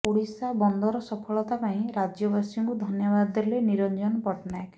ଓଡ଼ିଶା ବନ୍ଦର ସଫଳତା ପାଇଁ ରାଜ୍ୟବାସୀଙ୍କୁ ଧନ୍ୟବାଦ ଦେଲେ ନିରଞ୍ଜନ ପଟ୍ଟନାୟକ